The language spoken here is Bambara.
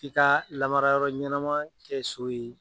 K'i ka lamara yɔrɔ ɲɛnama kɛ so ye.